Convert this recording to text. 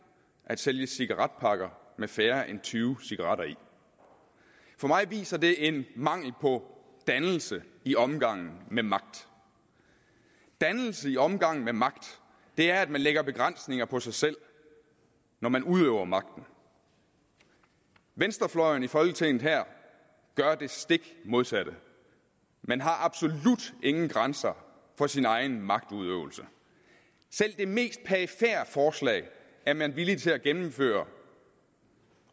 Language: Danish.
at sælge cigaretpakker med færre end tyve cigaretter i for mig viser det en mangel på dannelse i omgangen med magt dannelse i omgangen med magt er at man lægger begrænsninger på sig selv når man udøver magten venstrefløjen i folketinget her gør det stik modsatte man har absolut ingen grænser for sin egen magtudøvelse selv det mest perifere forslag er man villig til at gennemføre